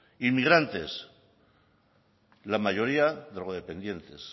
inmigrantes la mayoría drogodependientes